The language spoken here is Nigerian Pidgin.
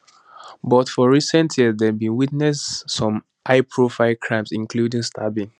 but for recent years dem don witness some highprofile crimes including stabbings